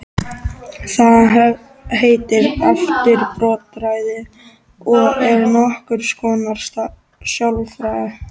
Það heitir afbrotafræði og er nokkurs konar sálfræði.